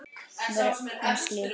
Hann var eins og lík.